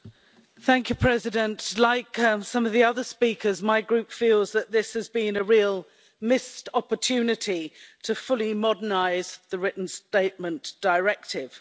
Madam President, like some of the other speakers, my group feels that this has been a real missed opportunity to fully modernise the Written Statement Directive.